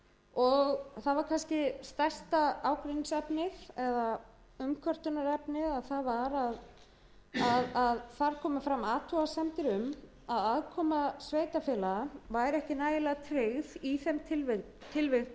og það var kannski stærsta ágreiningsefnið eða umkvörtunarefnið að þar komu fram athugasemdir um að aðkoma sveitarfélaga væri ekki nægilega tryggð í þeim